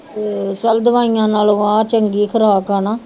ਤੇ ਚੱਲ ਦਵਾਈਆਂ ਨਾਲ ਆਹ ਚੰਗੀ ਖ਼ੁਰਾਕ ਆ ਨਾ